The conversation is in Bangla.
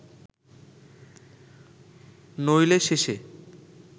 নইলে শেষে